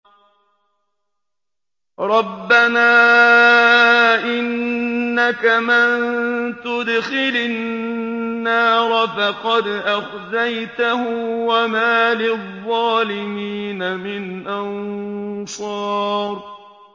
رَبَّنَا إِنَّكَ مَن تُدْخِلِ النَّارَ فَقَدْ أَخْزَيْتَهُ ۖ وَمَا لِلظَّالِمِينَ مِنْ أَنصَارٍ